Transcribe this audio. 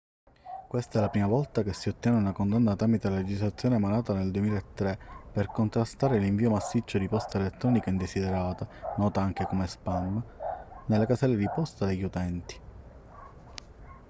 questa è la prima volta che si ottiene una condanna tramite la legislazione emanata nel 2003 per contrastare l'invio massiccio di posta elettronica indesiderata nota anche come spam nelle caselle di posta degli utenti